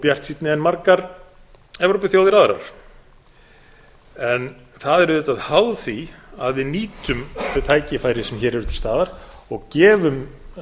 bjartsýnni en margar evrópuþjóðir aðrar en það er auðvitað háð því að við nýtum þau tækifæri sem hér eru til staðar og gefum